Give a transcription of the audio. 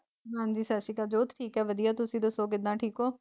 ਹਾਂਜੀ ਸਤਿ ਸ੍ਰੀ ਕਾਲ ਜੋਤ ਠੀਕ ਆ ਵਧੀਆ ਤੁਸੀਂ ਦਸੋ ਕਿੱਦਾਂ ਠੀਕ ਹੋ।